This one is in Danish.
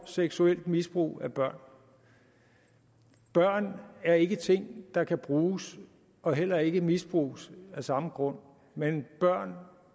seksuelt misbrug af børn børn er ikke ting der kan bruges og heller ikke misbruges af samme grund men børn